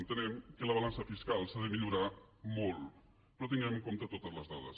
entenem que la balança fiscal s’ha de millorar molt però tenint en compte totes les dades